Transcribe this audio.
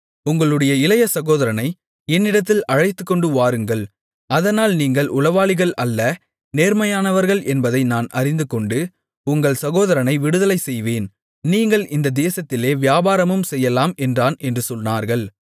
உங்கள் இளைய சகோதரனை என்னிடத்தில் அழைத்துக்கொண்டு வாருங்கள் அதனால் நீங்கள் உளவாளிகள் அல்ல நேர்மையானவர்கள் என்பதை நான் அறிந்துகொண்டு உங்கள் சகோதரனை விடுதலை செய்வேன் நீங்கள் இந்தத் தேசத்திலே வியாபாரமும் செய்யலாம் என்றான் என்று சொன்னார்கள்